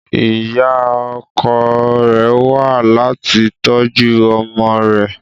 Ìyá ọkọ rẹ̀ wá láti tọ́jú ọmọ rẹ